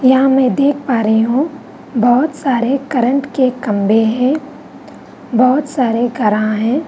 यहाँ मैं देख पा रही हूँ बहुत सारे करंट के खम्भे हैं बहुत सारे है।